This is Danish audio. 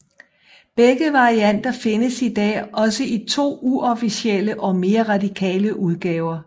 Begge varianter findes i dag også i to uofficielle og mere radikale udgaver